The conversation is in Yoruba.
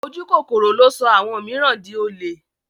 Ojúkòkòrò ló sọ àwọn mìíràn di olè.